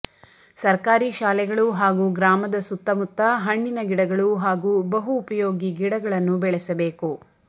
ಸರ್ಕಾರಿ ಶಾಲೆಗಳು ಹಾಗೂ ಗ್ರಾಮದ ಸುತ್ತ ಮುತ್ತ ಹಣ್ಣಿನ ಗಿಡಗಳು ಹಾಗೂ ಬಹುಉಪಯೋಗಿ ಗಿಡಗಳನ್ನು ಬೆಳೆಸಬೇಕು